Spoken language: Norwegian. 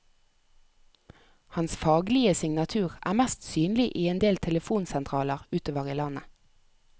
Hans faglige signatur er mest synlig i endel telefonsentraler utover i landet.